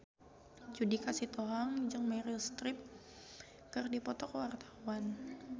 Judika Sitohang jeung Meryl Streep keur dipoto ku wartawan